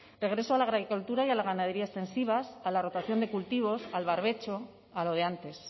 regreso a la agricultura y a la ganadería extensivas a la rotación de cultivos al barbecho a lo de antes